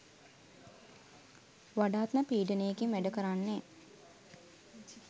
වඩාත්ම පීඩනයකින් වැඩ කරන්නේ